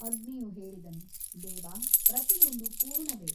ಅಗ್ನಿಯು ಹೇಳಿದನು ದೇವ ಪ್ರತಿಯೊಂದು ಪೂರ್ಣವೇ.